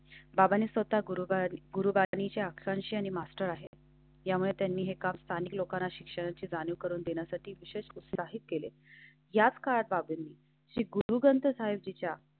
बाबाने स्वतः गुरुवार, गुरुवार टीव्हीचे अक्षांश आणि मास्टर आहेत. यामुळे त्यांनी एका स्थानिक लोकांना शिक्षणाची जाणीव करून देण्यासाठी विशेष असे आहेत. केले याच काळात श्री गुरु ग्रंथ साहिब तिच्या.